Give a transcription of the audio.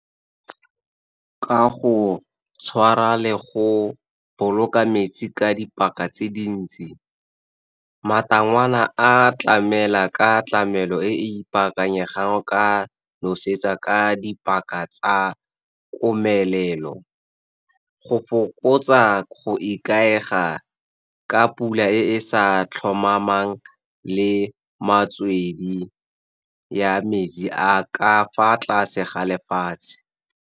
Ka go tshwara le go boloka metsi ka dipaka tse dintsi. Matangwana a tlamela ka tlamelo e ipaakanyetsang, ka nosetsa ka dipaka tsa komelelo. Go fokotsa go ikaega ka pula e sa tlhomamang le metswedi ya metsi a ka fa tlase ga lefatshe.